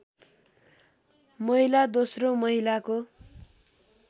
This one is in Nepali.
महिला दोस्रो महिलाको